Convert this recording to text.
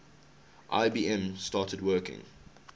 ibm started working